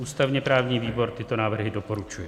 Ústavně-právní výbor tyto návrhy doporučuje.